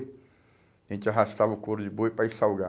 A gente arrastava o couro de boi para ir salgar.